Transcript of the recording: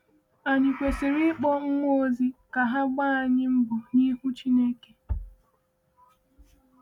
Anyị kwesịrị ịkpọ mmụọ ozi ka ha gbaa anyị mbọ n’ihu Chineke?